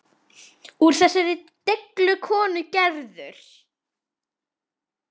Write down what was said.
Úr þessari deiglu kom Gerður.